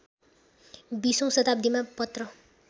२०औँ शताब्दीमा पत्र